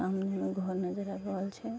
सामने मे एगो घर नजर आब रहल छै ।